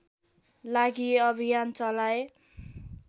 लागि अभियान चलाए